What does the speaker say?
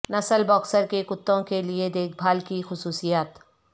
نسل باکسر کے کتوں کے لئے دیکھ بھال کی خصوصیات